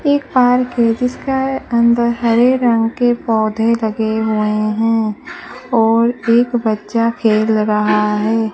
एक पार्क है जिसका अंदर हरे रंग के पौधे लगे हुए हैं और एक बच्चा खेल रहा है।